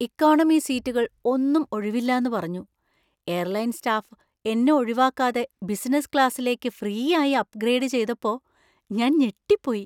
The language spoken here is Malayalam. ഇക്കോണമി സീറ്റുകൾ ഒന്നും ഒഴിവില്ലാന്നു പറഞ്ഞു, എയർലൈൻ സ്റ്റാഫ് എന്നെ ഒഴിവാവാക്കാതെ ബിസിനസ് ക്ലാസിലേക്ക് ഫ്രീ ആയി അപ്ഗ്രേഡ് ചെയ്തപ്പോ ഞാൻ ഞെട്ടിപ്പോയി.